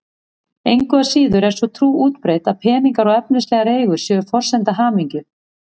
Engu að síður er sú trú útbreidd að peningar og efnislegar eigur séu forsenda hamingju.